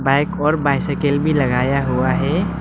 एक ओर बाइसाइकील भी लगाया हुआ है।